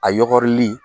A yɔgɔrili